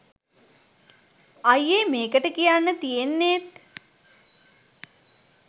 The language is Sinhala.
අයියේ මේකට කියන්න තියෙන්නේත්